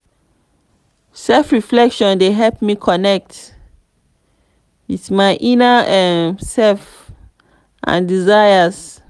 self-reflection dey help me connect with my inner um self and desires.